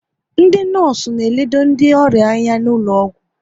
Ndị nọọsụ na elode ndị ọrịa anya n'ụlọgwụ